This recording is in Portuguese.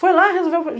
Foi lá e resolveu. Falei